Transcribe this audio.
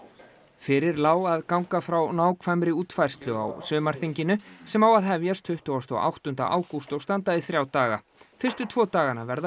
fyrir lá að ganga frá nákvæmri útfærslu á sumarþinginu sem á að hefjast tuttugasta og áttunda ágúst og standa í þrjá daga fyrstu tvo dagana verða